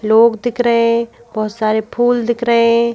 लोग दिख रहे हैं बहुत सारे फूल दिख रहे हैं।